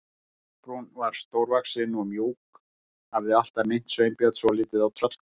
Kolbrún var stórvaxin og mjúk, hafði alltaf minnt Sveinbjörn svolítið á tröllkonu.